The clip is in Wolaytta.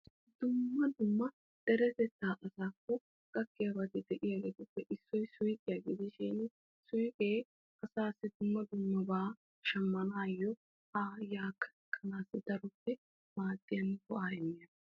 Dumma dumma deretetta asakko de'iyagettuppe issoy suyqqiya gidishin suyqqe dumma dumma buqura shamannawu maaddiyaga.